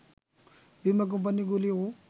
বীমা কোম্পানিগুলিও